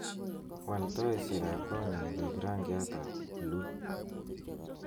wal taisyek ab konyun koik rangiatab buluu